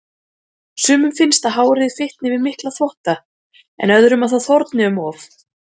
Sumum finnst að hárið fitni við mikla þvotta, en öðrum að það þorni um of.